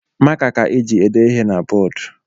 Maka ka e ji ede ihe n'boodu